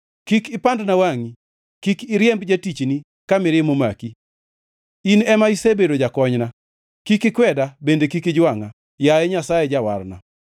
Kik ipandna wangʼi, kik iriemb jatichni ka mirima omaki, in ema isebedo jakonyna. Kik ikweda bende kik ijwangʼa, yaye Nyasaye Jawarna.